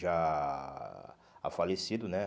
Já ah falecido, né?